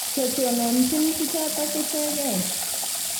Che tononjin bichotok ichegei.